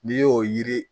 N'i y'o yiri